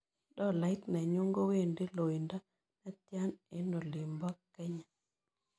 Tolait nenyun kowendi loindo netian eng' oling'bo kenya